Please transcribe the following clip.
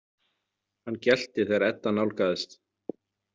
Hann gelti þegar Edda nálgaðist.